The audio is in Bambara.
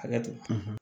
Hakɛ to